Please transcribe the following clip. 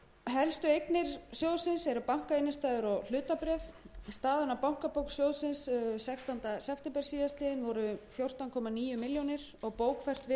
helstu eignir sjóðsins eru bankainnstæður og hlutabréf staðan á bankabók sjóðsins sextánda september síðastliðinn var fjórtán komma níu milljónir króna og bókfært virði